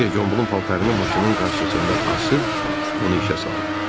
Kiver Gombulun paltarını maşının qarşısında asıb, onu işə saldı.